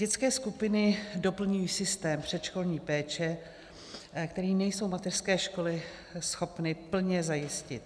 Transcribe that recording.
Dětské skupiny doplňují systém předškolní péče, který nejsou mateřské školy schopny plně zajistit.